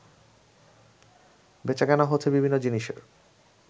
বেচাকেনা হচ্ছে বিভিন্ন জিনিসের